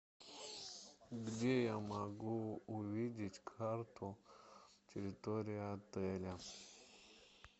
где я могу увидеть карту территории отеля